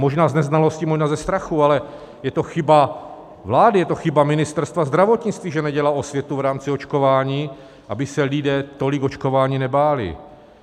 Možná z neznalosti, možná ze strachu, ale je to chyba vlády, je to chyba Ministerstva zdravotnictví, že nedělá osvětu v rámci očkování, aby se lidé tolik očkování nebáli.